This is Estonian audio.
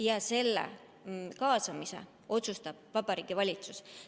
Ja selle kaasamise otsustab Vabariigi Valitsus.